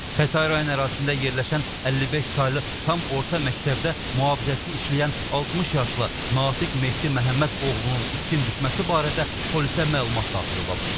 Xətai rayon ərazisində yerləşən 55 saylı tam orta məktəbdə mühafizəçi işləyən 60 yaşlı Natiq Mehdi Məhəmməd oğlunun itkin düşməsi barədə polisə məlumat daxil olub.